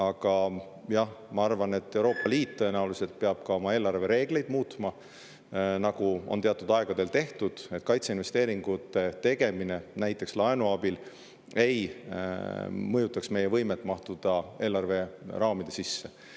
Aga, jah, ma arvan, et Euroopa Liit peab tõenäoliselt oma eelarvereegleid muutma, nagu on teatud aegadel tehtud, et kaitseinvesteeringute tegemine näiteks laenu abil ei mõjutaks meie võimet mahtuda eelarveraamide sisse.